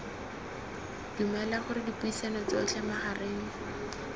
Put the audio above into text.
dumela gore dipuisano tsotlhe magareng